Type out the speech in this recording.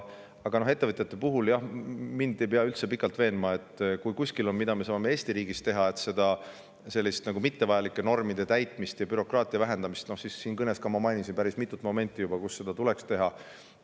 Aga ettevõtjate puhul, jah, mind ei pea üldse pikalt veenma selles, et kui kuskil on võimalik Eesti riigis mittevajalikke norme ja bürokraatiat vähendada – oma kõnes ma mainisin ka päris mitut sellist momenti –, siis seda tuleks teha.